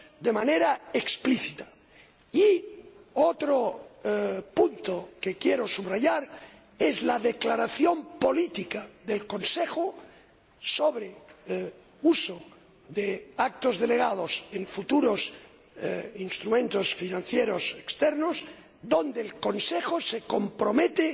de manera explícita. Otro punto que quiero subrayar es la declaración política del Consejo sobre el uso de actos delegados en futuros instrumentos de financiación externos, que el Consejo se compromete